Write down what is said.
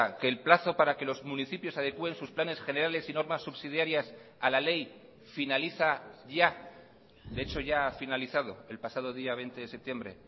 que el plazo para que los municipios adecuen sus planes generales y normas subsidiarias a la ley finaliza ya de hecho ya ha finalizado el pasado día veinte de septiembre